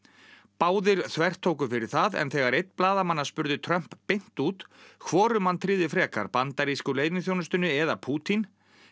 báðir þvertóku fyrir það en þegar einn blaðamanna spurði Trump beint út hvorum hann tryði frekar bandarísku leyniþjónustunni eða Pútín